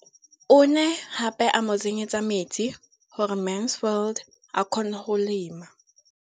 O ne gape a mo tsenyetsa metsi gore Mansfield a kgone go lema.